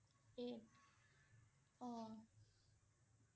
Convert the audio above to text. eight অ'